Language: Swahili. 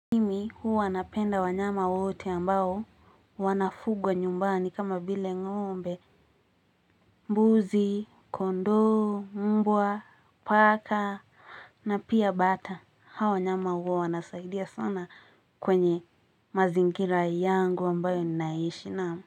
Huwa napenda wanyama wote ambao wanafugwa nyumbani kama vile ng'ombe mbuzi, kondoo, mbwa, paka na pia bata Hawa wanyama huwa wanasaidia sana kwenye mazingira yangu ambayo ninaishi naam.